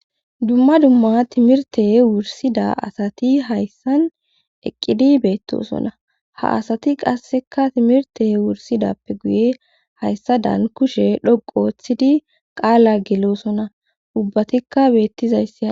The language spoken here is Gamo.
Dumma dumma timirte wursida asati hayssan eqqidi beettosona ha asati qasseka timirte wursidappe guye hayssa daan kushe dhoqothidi qaala gelosona ubbatikka beettizayssi.